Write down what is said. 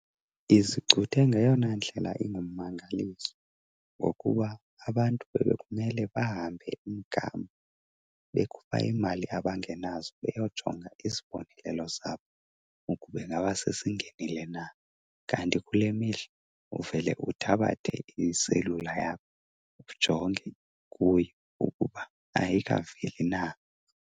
Izicuthe ngeyona ndlela ingummangaliso ngokuba abantu bebekumele bahambe umgama bekhupha iimali abangenazo beyojonga isibonelelo sabo ukuba ingaba sesingenile na. Kanti kule mihla uvele uthabathe iselula yakho ujonge kuyo ukuba ayikaveli na.